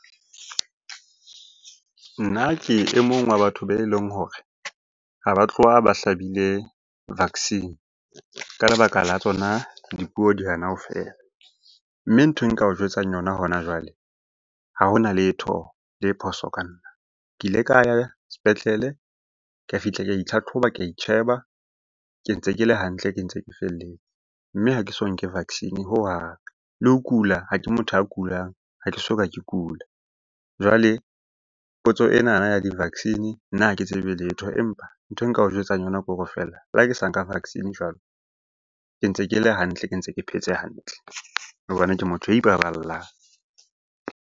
Nna ke e mong wa batho be leng hore ha ba tloha ba hlabile vaccine ka lebaka la tsona dipuo di hana ho fela. Mme nthwe nka o jwetsang yona hona jwale, ha hona letho le phoso ka nna. Ke ile ka ya sepetlele ka fihla ka itlhatlhoba, ka itjheba. Ke ntse ke le hantle, ke ntse ke felletse. Mme ha ke so nke vaccine hohang, le ho kula ha ke motho a kulang, ha ke soka ke kula. Jwale potso enana ya di-vaccine, nna ha ke tsebe letho. Empa nthwe nka o jwetsang yona ke hore feela le ha ke sa nka vaccine jwalo, ke ntse ke le hantle, ke ntse ke phetse hantle hobane ke motho ya ipaballang.